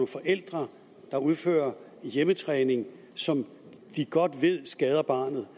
forældre der udfører hjemmetræning som de godt ved skader barnet